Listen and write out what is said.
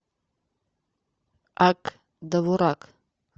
ак довурак